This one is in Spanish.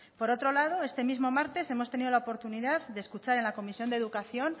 por otro lado este mismo martes hemos tenido la oportunidad de escuchar en la comisión de educación